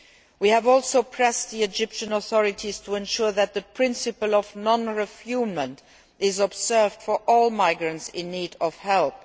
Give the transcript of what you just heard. We have also pressed the Egyptian authorities to ensure that the principle of non refoulement is observed for all migrants in need of help.